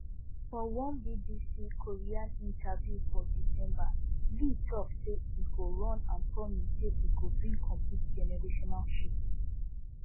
for one bbc korean interview for december lee tok say e go run and promise say e go bring complete generational shift